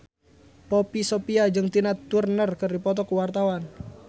Poppy Sovia jeung Tina Turner keur dipoto ku wartawan